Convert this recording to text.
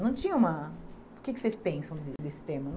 Não tinha uma... O que que vocês pensam de desse tema?